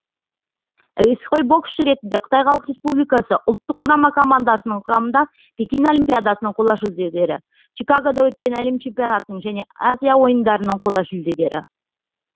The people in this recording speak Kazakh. әуесқой боксшы ретінде қытай халық республикасы ұлттық құрама командасының құрамында пекин олимпиадасының қола жүлдегері чикагода өткен әлем чемпионатының және азия ойындарының қола жүлдегері